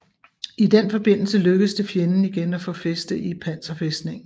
I den forbindelse lykkedes det fjenden igen at få fæste i panserfæstningen